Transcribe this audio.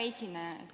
Hea esineja!